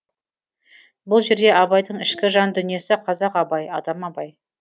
бұл жерде абайдың ішкі жан дүниесі қазақ абай адам абай